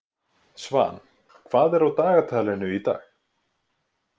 Svan, hvað er á dagatalinu í dag?